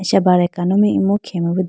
acha bar akano mai imu khege bi deya po.